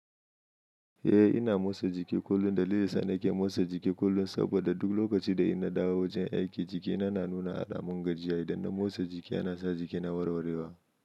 Eh, ina motsa jiki kullum. Dalilin da yasa nake motsa jiki kullum saboda duk lokacin da in na dawo wajen aiki, jikina na nuna alamun gajiya. Idan na motsa jiki yana sa jikina na warwarewa.